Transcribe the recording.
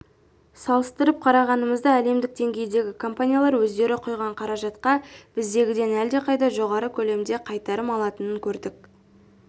салыстырып қарағанымызда әлемдік деңгейдегі компаниялар өздері құйған қаражатқа біздегіден әлдеқайда жоғары көлемде қайтарым алатынын көрдік